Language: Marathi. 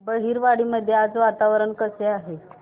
बहिरवाडी मध्ये आज वातावरण कसे आहे